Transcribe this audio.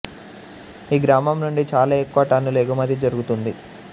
ఈ గ్రామం నుండి చాలా ఎక్కువ టన్నులు ఎగుమతి జరుగుతుంది